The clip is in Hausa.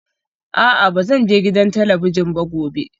A'a ba zan je gidan talabijin ba gobe